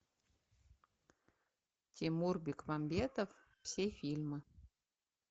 тимур бекмамбетов все фильмы